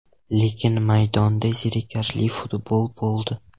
Lekin maydonda zerikarli futbol bo‘ldi.